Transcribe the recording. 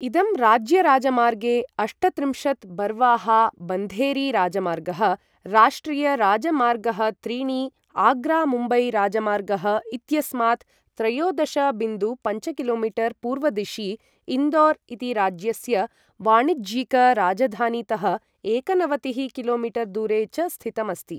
इदं राज्यराजमार्गे अष्टत्रिंशत् बर्वाहा बन्धेरी राजमार्गः, राष्ट्रियराजमार्गःत्रीणि आग्रा मुम्बै राजमार्गः इत्यस्मात् त्रयोदश बिन्दु पञ्च कि.मी. पूर्वदिशि, इन्दोर् इति राज्यस्य वाणिज्यिक राजधानीतः एकनवतिः कि.मी. दूरे च स्थितम् अस्ति।